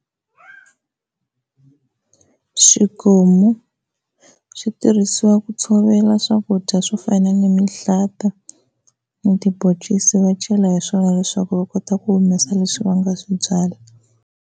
Xikomu, switirhisiwa ku tshovela swakudya swo fana ni mihlata, na tiboncisi va chela hi swona leswaku va kota ku humesa leswi va nga swi byala.